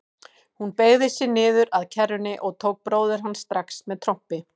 Hún beygði sig niður að kerrunni og tók bróður hans strax með trompi.